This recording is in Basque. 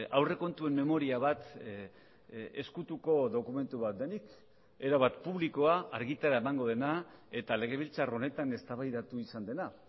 aurrekontuen memoria bat ezkutuko dokumentu bat denik erabat publikoa argitara emango dena eta legebiltzar honetan eztabaidatu izan dena